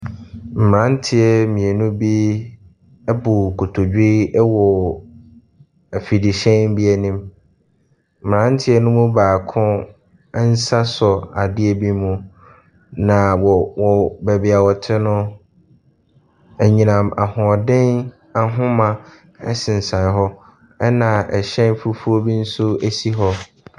Mmeranteɛ mmienu bi abu nkotodwe wɔ afidihyɛn bi anim. Mmeranteɛ no mu baako nsa sɔ adeɛ bi mu, na wɔ wɔ baabi a wɔte no, anyinam ahoɔden ahoma sensɛn hɔ, ɛnna hyɛn fufuo bi nso si hɔ.